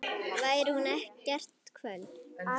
Veri hún kært kvödd.